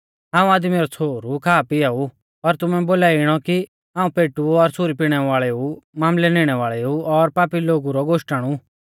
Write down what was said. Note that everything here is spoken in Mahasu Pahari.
हाऊं आदमी रौ छ़ोहरु खा पिआ ऊ पर तुमै बोलाई इणौ कि हाऊं पेटु और सुरी पिणै वाल़ोऊ मामलै निणै वाल़ेऊ और पापी लोगु रौ गोश्टण ऊ